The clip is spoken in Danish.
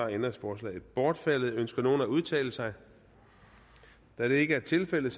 ændringsforslaget bortfaldet ønsker nogen at udtale sig da det ikke er tilfældet